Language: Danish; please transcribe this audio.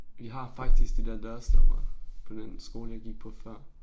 Vi har faktisk de der dørstoppere på den skole jeg gik på før